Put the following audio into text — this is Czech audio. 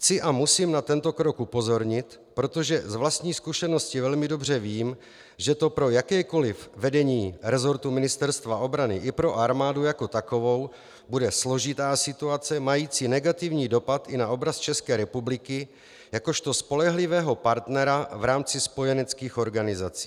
Chci a musím na tento krok upozornit, protože z vlastní zkušenosti velmi dobře vím, že to pro jakékoli vedení resortu Ministerstva obrany i pro armádu jako takovou bude složitá situace mající negativní dopad i na obraz České republiky jakožto spolehlivého partnera v rámci spojeneckých organizací.